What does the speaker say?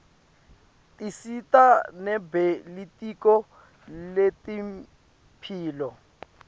tisita nebelitiko letemphilo